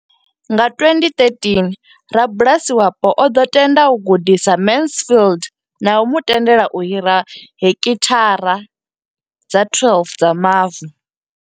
Nga 2013, rabulasi wapo o ḓo tenda u gudisa Mansfield na u mu tendela u hira heki thara dza 12 dza mavu.